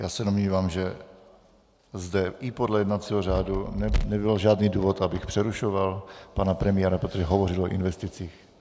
Já se domnívám, že zde i podle jednacího řádu nebyl žádný důvod, abych přerušoval pana premiéra, protože hovoří o investicích.